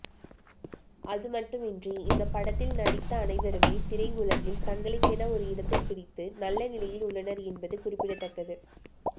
அதுமட்டுமின்றி இந்த படத்தில் நடித்த அனைவருமே திரையுலகில் தங்களுக்கென ஒரு இடத்தை பிடித்து நல்ல நிலையில் உள்ளனர் என்பது குறிப்பிடத்தக்கது